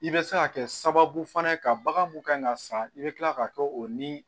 I bɛ se ka kɛ sababu fana ye ka bagan mun kan ka san i bɛ tila ka kɛ o ni